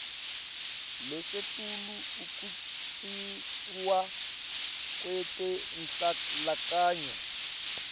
lasetulu ekuncishwa kwetenhlalakahle